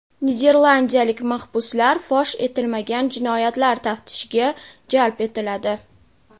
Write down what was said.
Niderlandiyalik mahbuslar fosh etilmagan jinoyatlar taftishiga jalb etiladi.